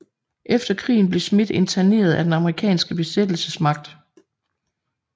Efter krigen blev Schmitt interneret af den amerikanske besættelsesmagt